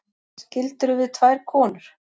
Skildirðu við tvær konur?